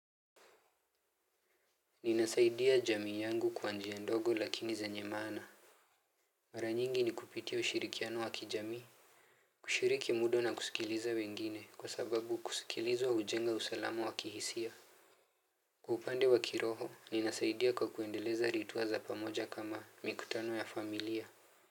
Ninasaidia jamii yangu kwa njia ndogo lakini zenye maana. Mara nyingi ni kupitia ushirikiano wa kijamii. Kushiriki muda na kusikiliza wengine kwa sababu kusikilizwa hujenga usalama wa kihisia. Kwa upande wa kiroho ninasaidia kwa kuendeleza rituwa za pamoja kama mikutano ya familia.